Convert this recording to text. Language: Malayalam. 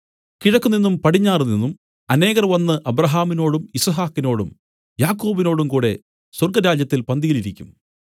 കിഴക്കുനിന്നും പടിഞ്ഞാറുനിന്നും അനേകർ വന്നു അബ്രാഹാമിനോടും യിസ്ഹാക്കിനോടും യാക്കോബിനോടും കൂടെ സ്വർഗ്ഗരാജ്യത്തിൽ പന്തിയിലിരിക്കും